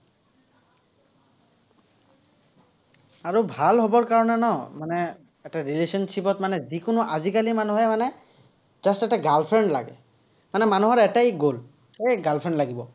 আৰু ভাল হ'বৰ কাৰণে ন, মানে এটা relationship ত মানে যিকোনো আজিকালি মানুহে মানে just এটা girl friend লাগে। মানে মানুহৰ এটাই গ'ল, এই girl friend লাগিব।